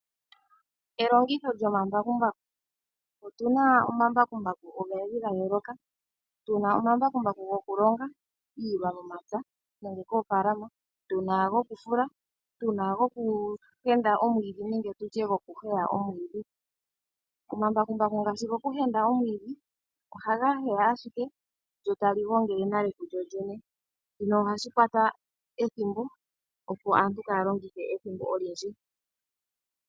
Elongitho lyomambakumbaku. Otu na omambakumbaku ogendji ga yooloka. Tu na omambakumbaku gokulonga iilwa momapya nenge moofaalama, tu na gokufula, tu na gokuhenda omwiidhi nenge tu tye gokuheya omwiidhi. Omambakumbaku ngaashi gokuheya omwiidhi, ohaga heya ashike go taga gongele nale kugo gene. Shika ohashi hupitha ethimbo, opo aantu kaaya longithe ethimbo olindji.